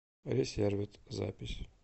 ресервид запись